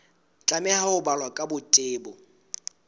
tlameha ho balwa ka botebo